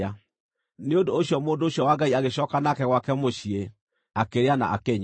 Nĩ ũndũ ũcio mũndũ ũcio wa Ngai agĩcooka nake gwake mũciĩ, akĩrĩa na akĩnyua.